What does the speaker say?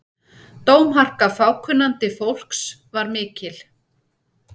Dómharka fákunnandi fólks var mikil.